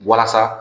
Walasa